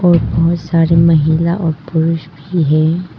बहोत सारी महिला और पुरुष भी है।